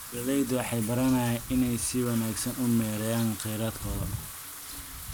Beeraleydu waxay baranayaan inay si wanaagsan u maareeyaan kheyraadkooda.